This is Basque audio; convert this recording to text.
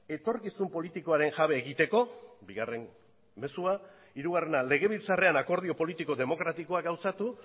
etorkizun politikoaren jabe egiteko bigarren mezua hirugarrena legebiltzarrean akordio politiko demokratikoa gauzatu